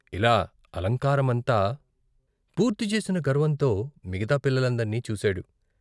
ఇలా అలంకారమంతా పూర్తిచేసిన గర్వంతో మిగతా పిల్లల్నందర్నీ చూశాడు.